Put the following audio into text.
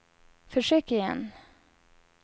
försök igen